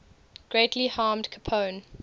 greatly harmed capone